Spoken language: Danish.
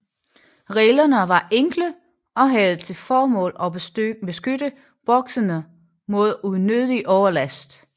Reglerne var enkle og havde til formål at beskytte bokserne mod unødig overlast